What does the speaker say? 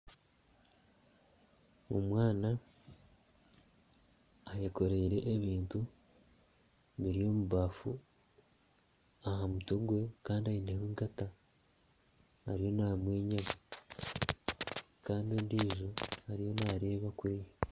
Omwana ayekoreire ebintu biri omu baafu aha mutwe gwe, kandi aineho egaata ariyo namwenya kandi ondijo ariyo nareeba kuriya.